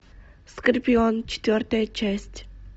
скорпион четвертая часть